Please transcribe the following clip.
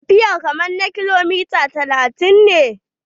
Tafiyar kamar na kilomita talatin ne